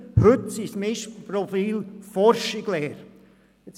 Heute sind es Mischprofile aus Forschung und Lehre.